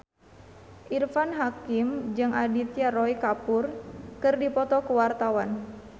Irfan Hakim jeung Aditya Roy Kapoor keur dipoto ku wartawan